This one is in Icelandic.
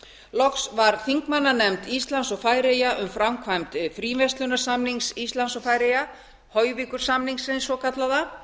loks var þingmannanefnd íslands og færeyja um framkvæmd fríverslunarsamnings íslands og færeyja hoyvíkursamningsins svokallaða